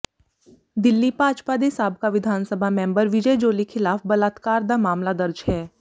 ਦਿਲੀ ਭਾਜਪਾ ਦੇ ਸਾਬਕਾ ਵਿਧਾਨ ਸਭਾ ਮੈਂਬਰ ਵਿਜੈ ਜੌਲੀ ਖਿਲਾਫ ਬਲਾਤਕਾਰ ਦਾ ਮਾਮਲਾ ਦਰਜ ਹੈ